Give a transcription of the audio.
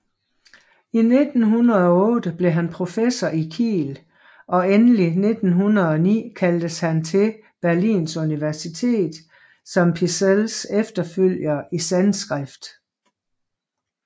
I 1908 blev han professor i Kiel og endelig 1909 kaldtes han til Berlins Universitet som Pischels efterfølger i sanskrit